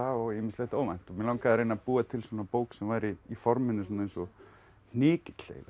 og ýmislegt óvænt og mig langaði að reyna að búa til svona bók sem væri í forminu eins og